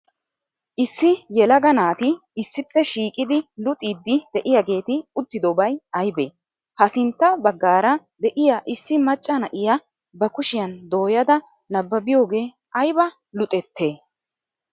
Issi yelaga naati issippe shiiqqidi luxiidi de'ageeti uttiddobay aybee? Ha sintta baggaara de'iya issi macca na'iya ba kushiyan dooyada nabbabbiyogee ayba luxettee?